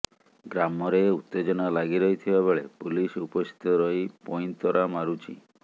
ଗ୍ରାମରେ ଉତ୍ତେଜନା ଲାଗି ରହିଥିବା ବେଳେ ପୁଲିସ ଉପସ୍ଥିତ ରହି ପଇନ୍ତରା ମାରୁଛି